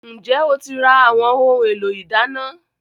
Ǹjẹ́ o ti ra àwọn ohun-èlò ìdáná?